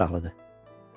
Çox maraqlıdır.